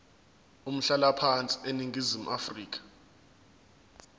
umhlalaphansi eningizimu afrika